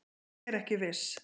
Er ekki viss